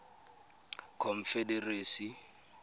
confederacy